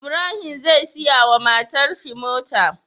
Ibrahim zai siya wa matar shi mota